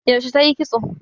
Yaushe tayi kitso?